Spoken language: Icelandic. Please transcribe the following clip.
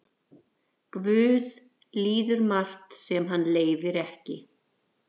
Guð líður margt sem hann leyfir ekki.